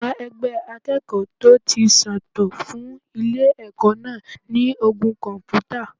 Àwọn ẹgbẹ́ akẹ́kọ̀ọ́ tó ti ṣe tán fún ilé ẹ̀kọ́ náà ní ogún kọ̀m̀pútà.